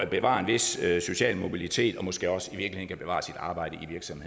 bevarer en vis social mobilitet og måske også i virkeligheden kan bevare sit arbejde